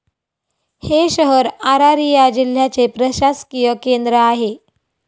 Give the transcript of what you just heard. हे शहर अरारिया जिल्याचे प्रशासकीय केंद्र आहे.